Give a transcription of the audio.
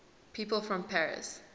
people from paris